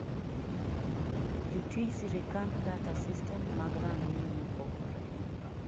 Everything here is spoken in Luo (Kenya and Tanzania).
jotij sirikand data system mag rang'iny maopogore